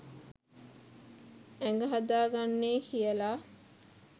ඇඟ හදාගන්නේ කියලා.